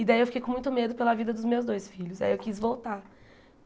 E daí eu fiquei com muito medo pela vida dos meus dois filhos, aí eu quis voltar.